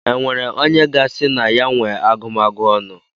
E nwere onye ga-asị na ya nwe agụmagụ ọnụ?